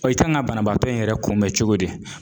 i kan ŋa banabaatɔ in yɛrɛ kunbɛ cogo di?